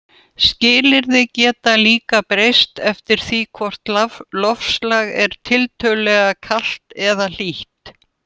Skilyrði geta líka breyst eftir því hvort loftslag er tiltölulega kalt eða hlýtt.